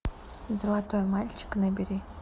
золотой мальчик набери